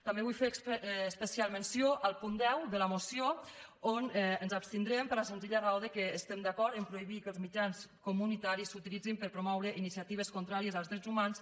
també vull fer especial menció del punt deu de la moció on ens abstindrem per la senzilla raó que estem d’acord a prohibir que els mitjans comunitaris s’utilitzin per promoure iniciatives contràries als drets humans